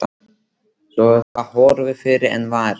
Svo er það horfið fyrr en varir.